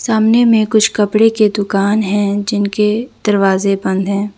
सामने में कुछ कपड़े के दुकान हैं जिनके दरवाजे बंद है।